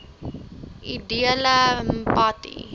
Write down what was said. edele mpati